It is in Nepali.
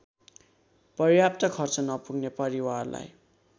पर्याप्त खर्च नपुग्ने परिवारलाई